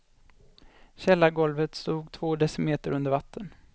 Källargolvet stod två decimeter under vatten.